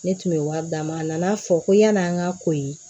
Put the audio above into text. Ne tun bɛ wari d'a ma a nana fɔ ko yan'an ka ko ye